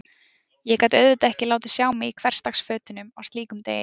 Ég gat auðvitað ekki látið sjá mig í hversdagsfötunum á slíkum degi.